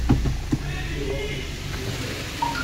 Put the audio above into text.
нигде в африке включи